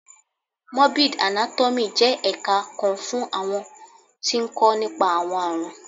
Morbid Anátọ́miì jẹ́ ẹ̀ka kan fún àwọn tí ń kó nípa. àwọn àrùn